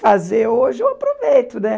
fazer hoje, eu aproveito, né?